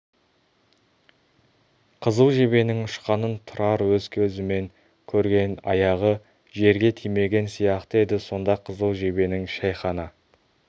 қызыл жебенің ұшқанын тұрар өз көзімен көрген аяғы жерге тимеген сияқты еді сонда қызыл жебенің шәйхана